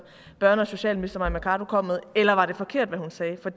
børne og socialministeren kom med eller var forkert hvad hun sagde for